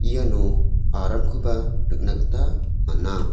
iano aramkoba nikna gita man·a.